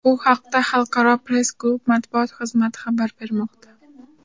Bu haqda Xalqaro press-klub matbuot xizmati xabar bermoqda .